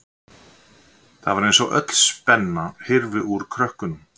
Það var eins og öll spenna hyrfi úr krökkunum.